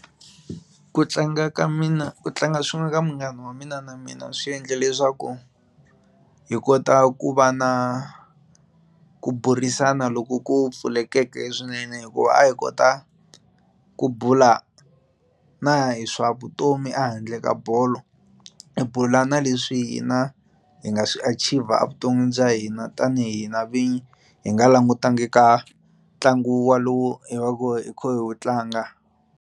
Ku tlanga ka mina ku tlanga swin'we ka munghana wa mina na mina swi endle leswaku hi kota ku va na ku burisana loku ku pfulekeke swinene hikuva a hi kota ku bula na hi swa vutomi a handle ka bolo hi bula na leswi hina hi nga swi achiever evuton'wini bya hina tanihi hina vinyi hi nga langutanga ka ntlangu walowu hi va ku hi kha hi wu tlanga.